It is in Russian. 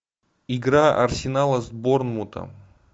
игра арсенала с борнмутом